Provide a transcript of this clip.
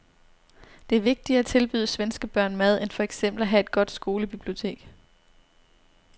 Det er vigtigere at tilbyde svenske børn mad end for eksempel at have et godt skolebibliotek.